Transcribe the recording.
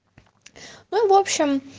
ну в общем